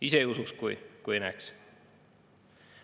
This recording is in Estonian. Ega ei usuks, kui ise ei näeks.